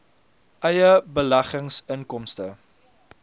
eie beleggings inkomste